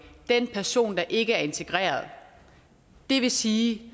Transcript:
den person der ikke er integreret det vil sige at